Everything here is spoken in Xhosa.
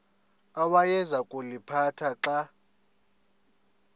awayeza kuliphatha xa